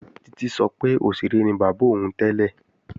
Títí sọ pé òṣèré ni bàbá òun tẹ́lẹ̀